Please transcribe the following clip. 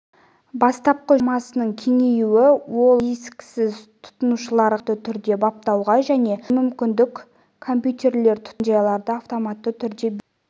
бастапқы жүктеу хаттамасының кеңеюі ол дискісіз тұтынушыларға автоматты түрде баптауға және жүктеуге мүмкіндік компьютерлер-тұтынушыларға мекен-жайларды автоматты түрде беру